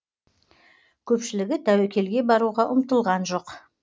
көпшілігі тәуекелге баруға ұмтылған жоқ